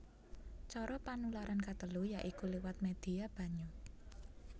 Cara panularan katelu ya iku liwat médhia banyu